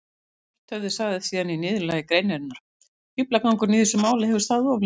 Svarthöfði sagði síðan í niðurlagi greinarinnar: Fíflagangurinn í þessu máli hefur staðið of lengi.